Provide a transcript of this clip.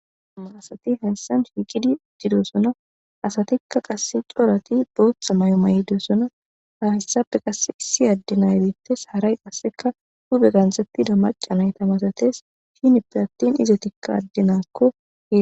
amarasati hassan shiiqidi didosona asatikka qass coorati booththa may7o may7dosona hafessafe qasse issi addinaybittes haray qasseka hube ganxettida macanay tamasates fhinippe attin izetikka addenaakko.